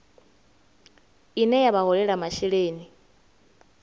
ine ya vha holela masheleni